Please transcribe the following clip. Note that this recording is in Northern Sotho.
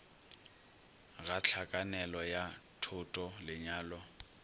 ga hlakanelo ya thoto lenyalo